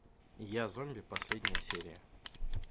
я зомби последняя серия